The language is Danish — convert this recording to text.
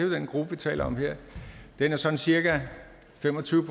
den gruppe vi taler om her er sådan cirka fem og tyve